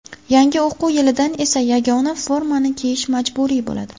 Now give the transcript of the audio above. Yangi o‘quv yilidan esa yagona formani kiyish majburiy bo‘ladi.